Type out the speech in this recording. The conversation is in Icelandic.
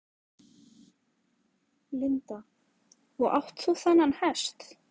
Linda: Og átt þú þennan hest?